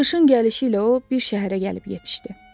Qışın gəlişi ilə o bir şəhərə gəlib yetişdi.